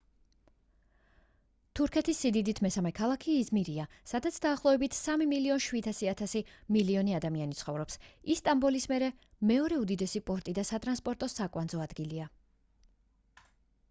თურქეთის სიდიდით მესამე ქალაქი იზმირია სადაც დაახლოებით 3,7 მილიონი ადამიანი ცხოვრობს ის სტამბოლის მერე მეორე უდიდესი პორტი და სატრანსპორტო საკვანძო ადგილია